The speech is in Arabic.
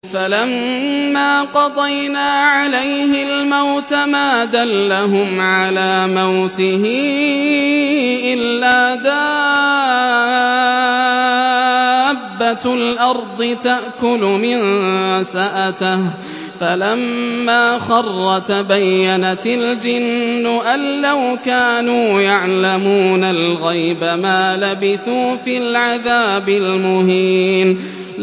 فَلَمَّا قَضَيْنَا عَلَيْهِ الْمَوْتَ مَا دَلَّهُمْ عَلَىٰ مَوْتِهِ إِلَّا دَابَّةُ الْأَرْضِ تَأْكُلُ مِنسَأَتَهُ ۖ فَلَمَّا خَرَّ تَبَيَّنَتِ الْجِنُّ أَن لَّوْ كَانُوا يَعْلَمُونَ الْغَيْبَ مَا لَبِثُوا فِي الْعَذَابِ الْمُهِينِ